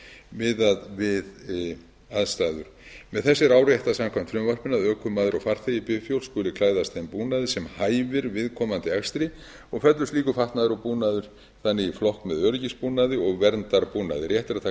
bifhjóls miðað við aðstæður með þessu er áréttað samkvæmt frumvarpinu að ökumaður og farþegi bifhjóls skuli klæðast þeim búnaði sem hæfir viðkomandi akstri og fellur slíkur fatnaður og búnaður þannig í flokk með öryggisbúnaði og verndarbúnaði rétt er að taka fram